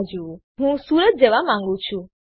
તો વાસ્તવમાં હું સુરત જવા માંગું છું